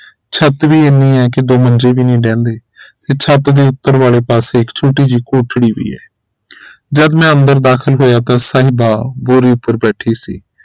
ਛੱਤ ਵੀ ਇਹਨੀ ਹੈ ਕਿ ਦੋ ਮੰਜੇ ਵੀ ਨਹੀਂ ਢਹਿੰਦੇ ਛੱਤ ਦੇ ਉਪਰ ਵਾਲੇ ਪਾਸੇ ਇਕ ਛੋਟੀ ਜਿਹੀ ਕੋਠੜੀ ਜੀ ਆ ਹੈ ਜਦ ਮੈਂ ਅੰਦਰ ਦਾਖਿਲ ਹੋਇਆ ਤਾਂ ਸਾਹਿਬਾ ਬੋਰੀ ਉਪਰ ਬੈਠੀ ਸੀ